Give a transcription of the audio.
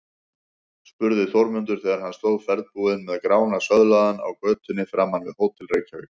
spurði Þórmundur þegar hann stóð ferðbúinn með Grána söðlaðan á götunni framan við Hótel Reykjavík.